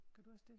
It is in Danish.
Gør du også det?